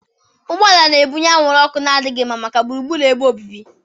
Ụgbọ ala na-ebunye anwụrụ ọkụ na-adịghị mma maka gburugburu ebe obibi.